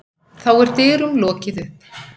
Þá er dyrum lokið upp.